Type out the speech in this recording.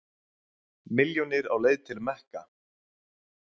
Milljónir á leið til Mekka